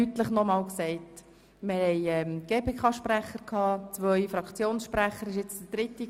Ich habe das vorher zu wenig deutlich wiederholt: